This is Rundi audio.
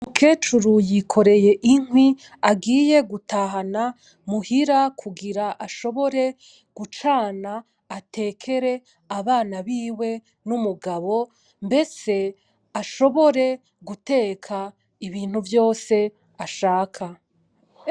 Umukecuru yikoreye inkwi agiye gutahana muhira kugira ashobore gucana atekere abana biwe n'umugabo mbese ashobore guteka ibintu vyose ashaka.